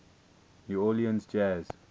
new orleans jazz